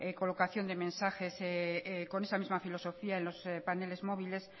colocación de mensajes con esa misma filosofía en los paneles móviles